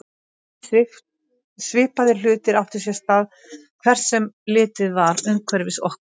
Svipaðir hlutir áttu sér stað hvert sem litið var umhverfis okkur.